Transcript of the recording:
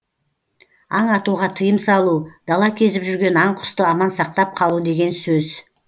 аң атуға тыйым салу дала кезіп жүрген аң құсты аман сақтап қалу деген сөз